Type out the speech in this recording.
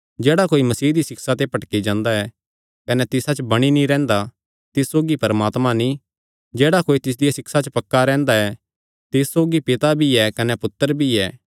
जेह्ड़ा कोई मसीह दी सिक्षा ते भटकी जांदा ऐ कने तिसा च बणी नीं रैंह्दा तिस सौगी परमात्मा नीं जेह्ड़ा कोई तिसदिया सिक्षा च पक्का रैंह्दा ऐ तिस सौगी पिता भी ऐ कने पुत्तर भी ऐ